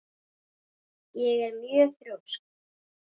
Ég er mjög þrjósk.